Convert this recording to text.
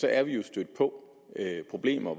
er vi jo stødt på problemer